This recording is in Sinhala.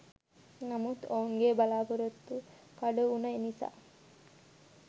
නමුත් ඔවුන්ගේ බලපොරොත්තු කඩවුන නිසා